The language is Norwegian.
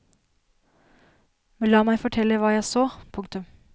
Men la meg fortelle hva jeg så. punktum